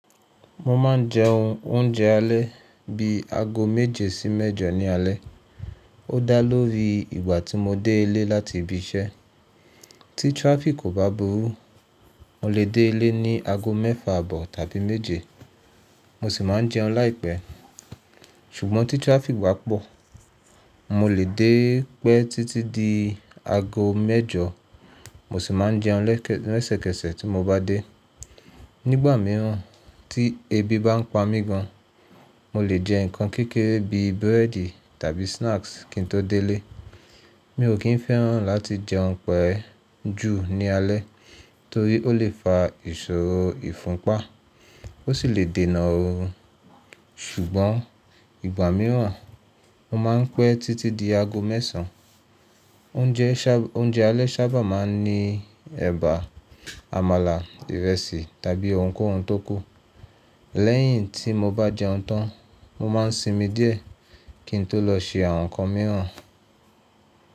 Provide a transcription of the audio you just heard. Mo ma n jẹ oúnjẹ alẹ́ bí aago méje sí mẹ́jọ ní alẹ́. Ó da lórí ìgbà tí mo dé ilé láti ibi iṣẹ́. Tí traffic kò bá burú, mo lè dé ilé ní aago mẹ́fà àbọ̀ tàbí méje. Mo sì má n jẹun láìpẹ́. Ṣùgbọ́n tí traffic bá pọ̀, mo lè dé pẹ́ títí di aago mẹ́jọ. Mo sì ma n jẹun lẹ́sẹ̀ kẹsẹ̀ tí mo bá dé. Nígbà mìíràn tí ebi bá ń pa mí gan, mo lè jẹ ǹkan kékeré bí búrẹ́dì tàbí snacks kín tó dé ilé. Mi ò kín fẹ́ràn láti jẹ jẹun pé jù ní alẹ́ torí ó lè fa ìṣòro ifunpa, ó sì lè dènà orun. Ṣùgbọ́n ìgbà mìíràn mo má n pẹ́ títí di aago mẹ́sàn. Oúnjẹ alẹ́ ṣábà máa n ní èbà, amálà, ìrẹsì tàbí ohunkóhun tó kù. Lẹ́yìn tí mo bá jẹ oun tán, mo ma n sinmi díẹ̀ kín tó lọ ṣe àwọn ǹkan mìíràn.